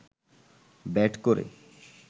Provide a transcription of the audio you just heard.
bat করে